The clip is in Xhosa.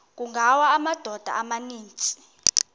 kungawa amadoda amaninzi